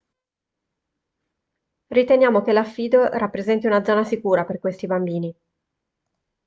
riteniamo che l'affido rappresenti una zona sicura per questi bambini